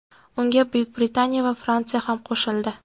Unga Buyuk Britaniya va Fransiya ham qo‘shildi.